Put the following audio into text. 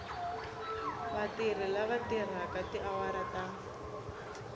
vatirhi lava tirhaka tiawara ta